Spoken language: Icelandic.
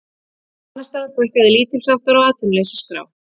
Annars staðar fækkaði lítilsháttar á atvinnuleysisskrá